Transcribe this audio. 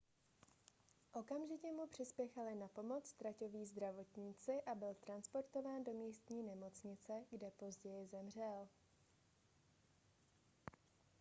okamžitě mu přispěchali na pomoc traťoví zdravotníci a byl transportován do místní nemocnice kde později zemřel